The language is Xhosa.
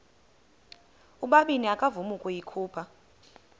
ubabini akavuma ukuyikhupha